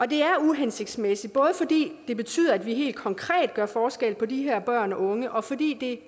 det er uhensigtsmæssigt både fordi det betyder at vi helt konkret gør forskel på de her børn og unge og fordi det